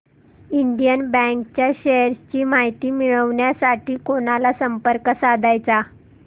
Indian bank च्या shares ची माहिती मिळविण्यासाठी कोणाला संपर्क साधायचा